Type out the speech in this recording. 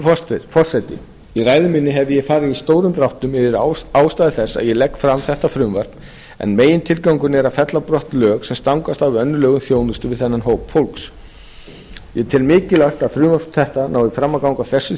hæstvirtur forseti í ræðu minni hef ég farið í stórum dráttum yfir ástæðu þess að ég legg fram þetta frumvarp en megintilgangurinn er að fella brott lög sem stangast á við önnur lög um þjónustu við þennan hóp fólks ég tel mikilvægt að frumvarp þetta nái fram að ganga á þessu